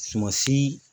Sumasi